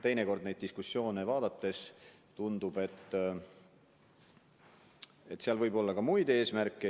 Teinekord neid diskussioone jälgides tundub, et mängus võib olla ka muid eesmärke.